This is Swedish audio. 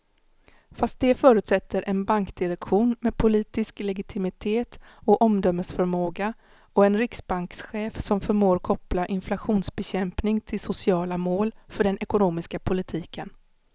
Fast det förutsätter en bankdirektion med politisk legitimitet och omdömesförmåga och en riksbankschef som förmår koppla inflationsbekämpning till sociala mål för den ekonomiska politiken.